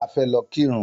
A fẹ́ lọ kírun